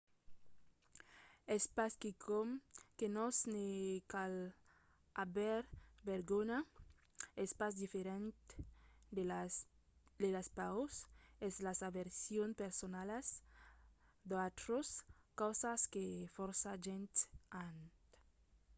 es pas quicòm que nos ne cal aver vergonha: es pas diferent de las paurs e las aversions personalas d'autras causas que fòrça gents an